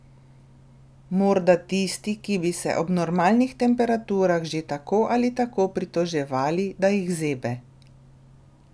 Morda tisti, ki bi se ob normalnih temperaturah že tako ali tako pritoževali, da jih zebe.